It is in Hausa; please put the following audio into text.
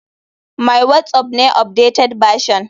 My whatsapp ne updated version.